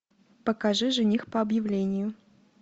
покажи жених по объявлению